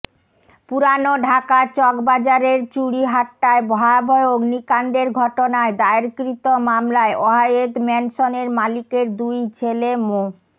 পুরান ঢাকার চকবাজারের চুড়িহাট্টায় ভয়াবহ অগ্নিকাণ্ডের ঘটনায় দায়েরকৃত মামলায় ওয়াহেদ ম্যানশনের মালিকের দুই ছেলে মো